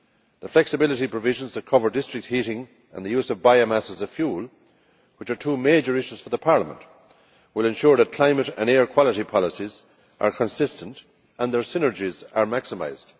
The flexibility provisions that cover district heating and the use of biomass as a fuel, which are two major issues for Parliament, will ensure that climate and air quality policies are consistent and their synergies are maximised.